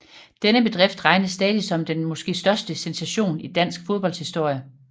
Denne bedrift regnes stadig som den måske største sensation i dansk fodbolds historie